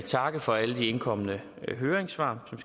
takke for alle de indkomne høringssvar som